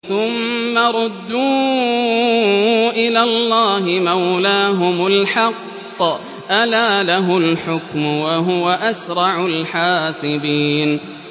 ثُمَّ رُدُّوا إِلَى اللَّهِ مَوْلَاهُمُ الْحَقِّ ۚ أَلَا لَهُ الْحُكْمُ وَهُوَ أَسْرَعُ الْحَاسِبِينَ